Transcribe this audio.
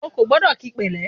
O kò gbọ́dọ̀ kíi pẹ̀lẹ́!